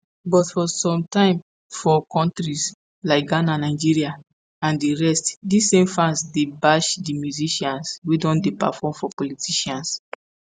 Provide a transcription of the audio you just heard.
but for sometime for kontris like ghana nigeria and di rest dis same fans dey bash di musicians wey don dey perform for politicians.